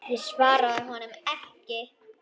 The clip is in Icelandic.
Ég svaraði honum ekki.